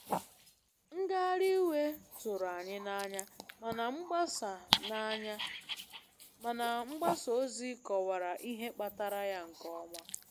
Ngagharị iwe tụrụ anyị n'anya, mana mgbasa n'anya, mana mgbasa ozi kọwara ihe kpatara ya nke ọma.